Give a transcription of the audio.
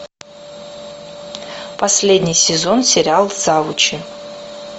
последний сезон сериал завучи